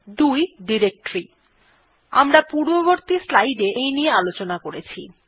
২ directory আমরা পূর্ববর্তী স্লাইডে এই নিয়ে আলোচনা করেছি